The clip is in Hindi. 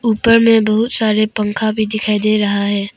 ऊपर में बहुत सारे पंखा भी दिखाई दे रहा है।